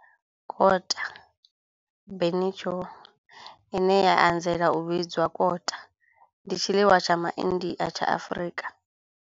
Kota, bunny chow, ine ya anzela u vhidzwa kota, ndi tshiḽiwa tsha MA India tsha Afrika.